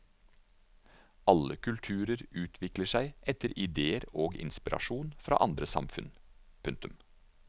Alle kulturer utvikler seg etter idéer og inspirasjon fra andre samfunn. punktum